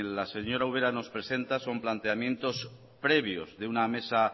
la señora ubera nos presenta planteamientos previos de una mesa